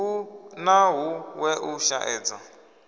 hu na huṅwe u shaedza